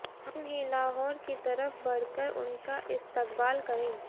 हम ही लाहौर की तरफ बढ़ कर उनका इस्तकबाल करें